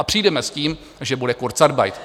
A přijdeme s tím, že bude kurzarbeit.